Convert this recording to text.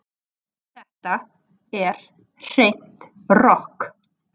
Þetta er hreint rokk